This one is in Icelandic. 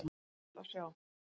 Sárt að sjá